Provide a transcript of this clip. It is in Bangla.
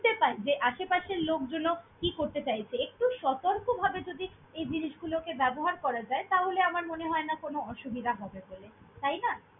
~নতে পাই যে আশেপাশের লোকজনও কি করতে চাইছে। একটু সতর্কভাবে যদি এই জিনিসগুলোকে ব্যবহার করা যায় তাহলে, আমার মনে হয় না কোনো অসুবিধা হবে বলে তাই না!